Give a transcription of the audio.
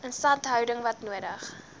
instandhouding wat nodig